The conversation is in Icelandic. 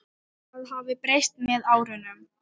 Það hafi breyst með árunum.